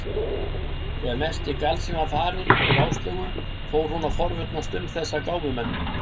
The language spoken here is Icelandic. Þegar mesti galsinn var farinn úr Áslaugu fór hún að forvitnast um þessa gáfumenn.